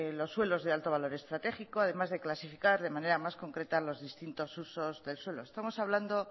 los suelos de alto valor estratégico además de clasificar de manera más concreta los distintos usos del suelo estamos hablando